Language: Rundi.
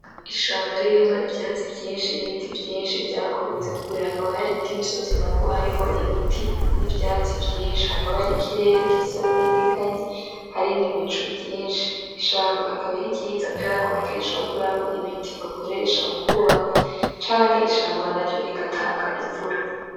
Ishamba ririmwo ivyatsi vyinshi n’ibiti vyinshi vyakuze kure hakaba harindi misozi nabwo hariho ibiti n’ivyatsi vyinshi hakaba hari ikirere gisa n’igikanye hari n’ibicu vyinshi. Ishamba akaba ariryiza kuberako akenshi bakuramo ibiti bakoresha mu kwubaka canke ishamba naryo rigatanga invura.